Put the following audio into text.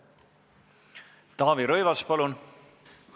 Taavi Rõivas, palun!